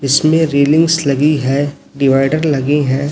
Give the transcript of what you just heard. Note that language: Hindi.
इसमें रेलिंग्स लगी है डिवाइडर लगी है।